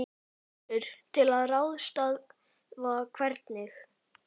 Gissur: Til að ráðstafa hvernig?